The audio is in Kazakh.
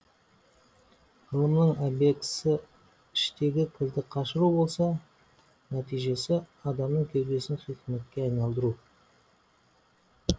ғылымның обьектісі іштегі кірді қашыру болса нәтижесі адамның кеудесін хикметке айналдыру